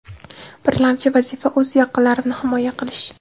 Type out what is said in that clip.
Birlamchi vazifa – o‘z yaqinlarimni himoya qilish.